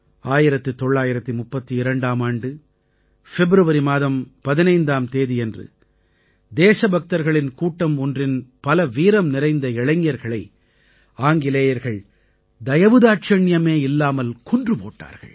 1932ஆம் ஆண்டு பிப்ரவரி மாதம் 15ஆம் தேதியன்று தேசபக்தர்களின் கூட்டம் ஒன்றின் பல வீரம் நிறைந்த இளைஞர்களை ஆங்கிலேயர்கள் தயவு தாட்சணியமே இல்லாமல் கொன்று போட்டார்கள்